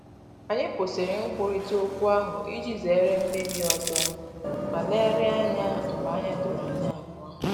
Anyị kwụsịrị nkwurịta okwu ahụ iji zere mmebi ọzọ ma legharịa ya anya mgbe anya doro anyi abuo